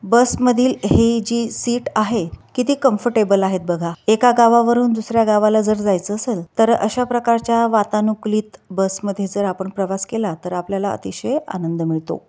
बस मधील हे जी सीट आहे किती कंफरटेबल आहेत बगा एका गावावरून दुसर्‍या गावाला जर जायच असेल तर अशा प्रकारच्या वातानुकलीत बस मध्ये जर आपण प्रवास केला तर आपल्याला अतिशय आनंद मिळतो.